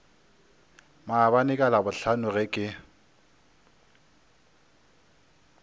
maabane ka labohlano ge ke